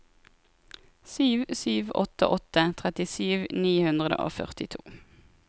sju sju åtte åtte trettisju ni hundre og førtito